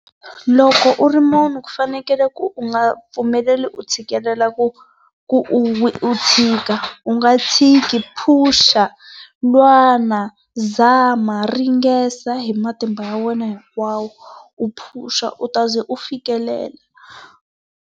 Loko u ri munhu ku fanekele ku u nga pfumeleli u tshikelela ku ku u u tshika, u nga tshiki phusha, lwana, zama, ringesa hi matimba ya wena hinkwawo, u phusha u taze u fikelela.